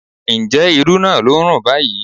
Ǹjẹ́ irú naa ló ń rùn báyìí?